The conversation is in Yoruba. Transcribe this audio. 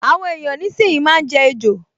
Àwọn èèyàn nísìínyi máa n jẹ ejò